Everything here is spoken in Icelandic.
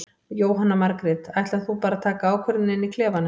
Jóhanna Margrét: Ætlar þú bara að taka ákvörðun inn í klefanum?